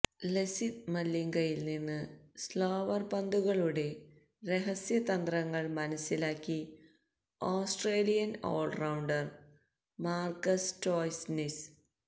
ലസിത് മലിംഗയില് നിന്ന് സ്ലോവര് പന്തുകളുടെ രഹസ്യ തന്ത്രങ്ങള് മനസിലാക്കി ഓസ്ട്രേലിയന് ഓള്റൌണ്ടര് മാര്കസ് സ്റ്റോയ്നിസ്